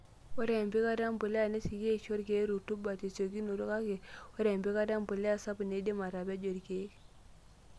Ore empikata empuliya nesioki aisho irkiek rutuba tesiokinoto, kake ore empikata empuliya sapuk neidim atapejo irkiek.